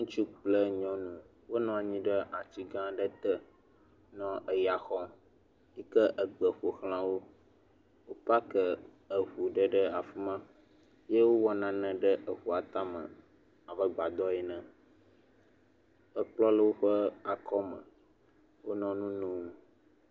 Ŋutsu kple nyɔnu wonɔ ɖe ati gã ɖe te nɔ eya xɔm, yike egbe ƒo xla wo. Wo pakɛ eŋu ɖe ɖe afi ma ye wowɔ naɖe ɖe eŋua tame abe gbadɔ ene. Ekplɔ le woƒe akɔ me, wonɔ nu nom.